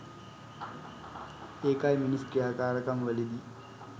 ඒකයි මිනිස් ක්‍රියාකාරකම් වලදි